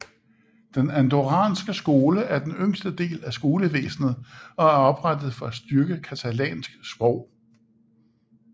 Den andorranske skole er den yngste del af skolevæsnet og er oprettet for at styrke catalansk sprog